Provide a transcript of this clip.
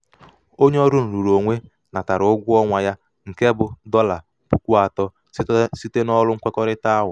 onye ọrụ nrụrụonwe natara ụgwọ ọnwa ya nke bụ dọla puku atọ site n'ọrụ nkwekọrịta ahụ.